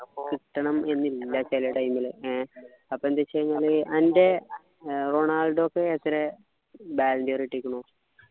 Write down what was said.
അപ്പൊ കിട്ടണം എന്നില്ല ചില time ലു ഏർ അപ്പൊ എന്ത് വെച്ച് കഴിഞ്ഞാല് അൻ്റെ റൊണാൾഡോ ക്ക് എത്ര ballon d'or കിട്ടിക്കുന്നു